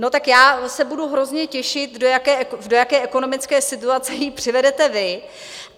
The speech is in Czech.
No tak já se budu hrozně těšit, do jaké ekonomické situace ji přivedete vy.